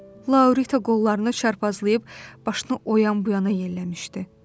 Laurita qollarını çarpazlayıb başını o yan bu yana yelləmişdi.